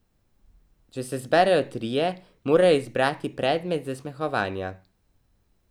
Če se zberejo trije, morajo izbrati predmet zasmehovanja.